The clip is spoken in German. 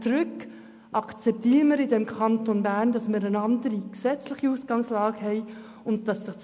Bitte akzeptieren Sie, dass wir im Kanton Bern eine andere gesetzliche Ausgangslage haben.